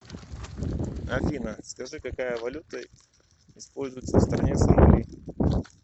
афина скажи какая валюта используется в стране сомали